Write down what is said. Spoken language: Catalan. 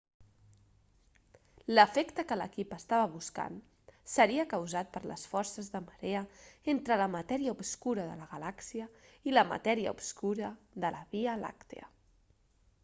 l'efecte que l'equip estava buscant seria causat per les forces de marea entre la matèria obscura de la galàxia i la matèria obscura de la via làctia